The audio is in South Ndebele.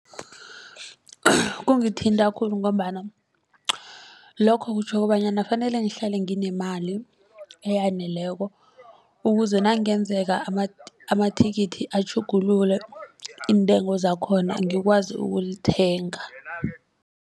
Kungithinta khulu ngombana lokho kutjho kobanyana fanele ngihlale nginemali eyaneleko ukuze nakungenzeka amathikithi atjhugulule iintengo zakhona ngikwazi ukulithenga.